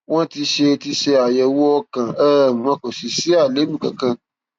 wọn ti ṣe àyẹwò ti ṣe àyẹwò ọkàn um wọn kò sì sí àléébù kankan